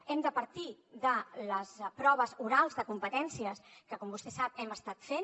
hem de partir de les proves orals de competències que com vostè sap hem estat fent